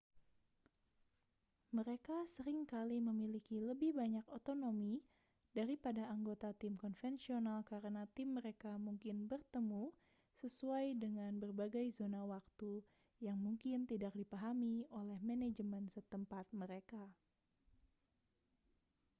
mereka sering kali memiliki lebih banyak otonomi daripada anggota tim konvensional karena tim mereka mungkin bertemu sesuai dengan berbagai zona waktu yang mungkin tidak dipahami oleh manajemen setempat mereka